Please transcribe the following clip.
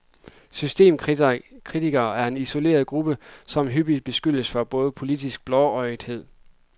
Systemkritikerne er en isoleret gruppe, som hyppigt beskyldes for politisk blåøjethed.